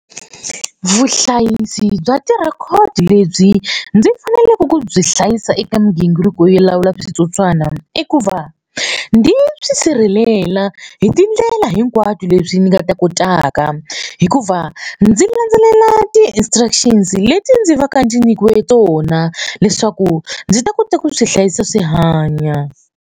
Vuhlayisi bya ti record lebyi ndzi faneleke ku byi hlayisa eka migingiriko yo lawula switsotswana i ku va ndzi byi sirhelela hi tindlela hinkwato leswi ni nga ta kotaka hikuva ndzi landzelela ti-instructions leti ndzi va ka ndzi nyikiwe tona leswaku ndzi ta kota ku swi hlayisa swi hanya.